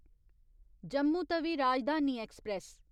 Jammu Tawi Rajdhani express